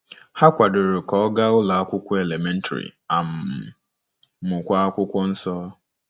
Ha kwadoro ka ọ gaa ụlọ akwụkwọ elementrị um, mụkwa Akwụkwọ Nsọ.